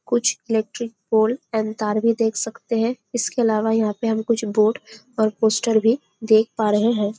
कुछ electric board and तार भी देख सकते हैं इसके अलावा यहाँ पे हम कुछ बोर्ड और पोस्टर भी देख पा रहे हैं।